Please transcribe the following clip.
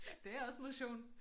Det er også motion